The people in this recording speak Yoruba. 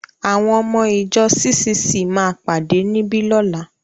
Àwọn ọmọ-ìjọ CCC máa pàdé níbí lọ́la.